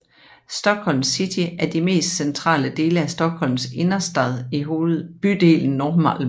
Stockholms City er de mest centrale dele af Stockholms innerstad i bydelen Norrmalm